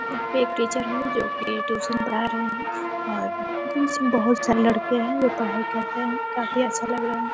यहाँ पे एक टीचर है जोकि ट्युशन पढ़ा रहे हैं और मतलब इसमें बहोत सारे लड़के हैं पढाई कर रहे हैं। काफी अच्छा लग रहा है।